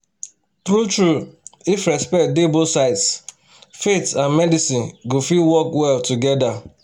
true-true if respect dey both sides faith and medicine go fit work well together."